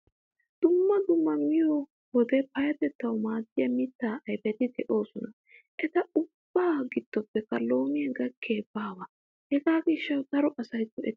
Dumma dumma miyoo wode payyatettawu maddiyaa mitta ayipeti doosonashin eta ubbaa giddopppe loomiyaa gakkiyayi baawa. Hegaa gishshawu daro asayi go'ettes.